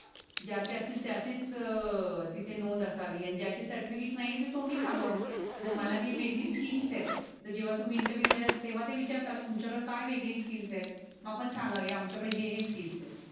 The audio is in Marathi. ज्यचे असतील त्याचेच अह तिथे नोंद असावी. आणि ज्याचे सर्टिफिकेट नाय येत त्याच तोंडी सांगाव जर मला काही वेगळी स्किल्स येत. तर जेवा तुम्ही इंटरव्हिव्ह द्याल तेवा ते विचारता तुमच्या कड काय वेगळी स्किल्स येत. मग आपण सांगाव आमच्या कडे हे हे स्किल्स येत.